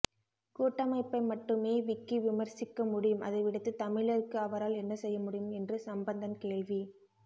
கூட்டமைப்பை மட்டுமே விக்கி விமர்சிக்க முடியும் அதைவிடுத்து தமிழருக்கு அவரால் என்ன செய்ய முடியும் என்று சம்பந்தன் கேள்வி